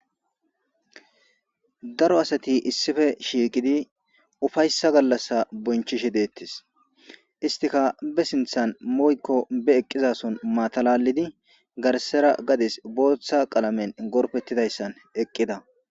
daro asati issife shiiqidi ufayssa gallassa bonchishe deettis istika be sinthan moykko be eqqizason matalalidi garsera gades booththa qalamen gorpettidayssan eqqida